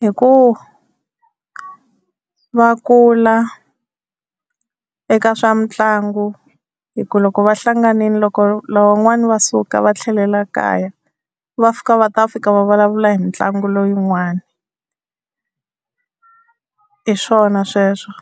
hi ku va kula eka swa mitlangu, hi ku loko va hlanganile loko lava van'wani va suka va tlhelela kaya va fika va ta fika va vulavula hi ntlangu leyin'wana hi swona sweswo.